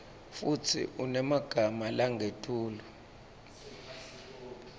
futsi unemagama langetulu